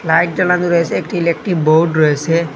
Light জ্বালানো রয়েসে একটি ইলেকট্রিক বোর্ড রয়েসে।